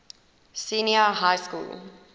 senior high school